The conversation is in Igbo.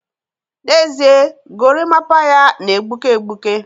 n'ezie, gorimapa ya na-egbuke egbuke